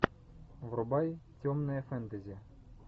врубай темное фэнтези